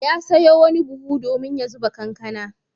Ya sayo wani buhu domin ya zuba kankana.